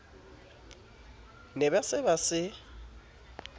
ne ba se ba se